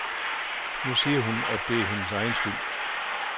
Nu siger hun, at det er hendes egen skyld.